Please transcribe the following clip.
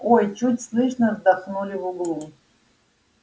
ой чуть слышно вздохнули в углу